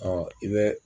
i bɛ